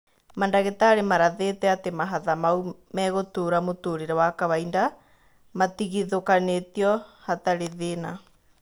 Mandagĩtarĩ marathĩĩte atĩ mahatha mau megũtũra mũtũrĩre wa kawainda matigithũkanio hatarĩ thĩna.